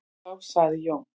Þá sagði Jón: